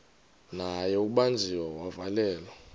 naye ubanjiwe wavalelwa